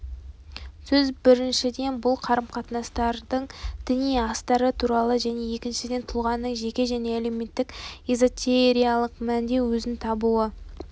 сөз біріншіден бұл қарым-қатынастардың діни астары туралы және екіншіден тұлғаның жеке және әлеуметтік эзотериялық мәнде өзін табуы